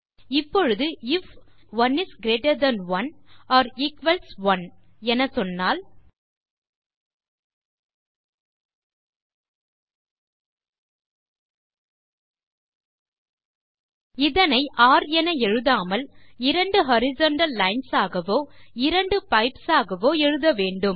இப்பொழுது if 1 is greater than 1 or equals 1 என சொன்னால் இதனை ஒர் என எழுதாமல் இரண்டு ஹாரிசன்டல் லைன்ஸ் ஆகவோ இரண்டு பைப்ஸ் ஆகவோ எழுத வேண்டும்